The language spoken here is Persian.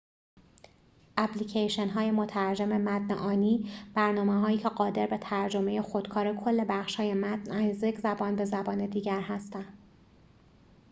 اپلیکیشن‌های مترجم متن آنی برنامه هایی که قادر به ترجمه خودکار کل بخشهای متن از یک زبان به زبان دیگر هستند